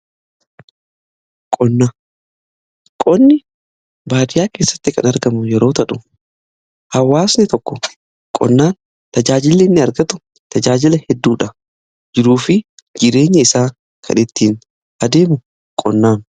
Qonni baadiyaa keessatti kan argamu yeroo ta'u hawaasni tokko qonnaan tajaajili inni argatu tajaajila hedduudha. Jiruu fi jireenya isaa kan ittiin adeemsisu qonnaani.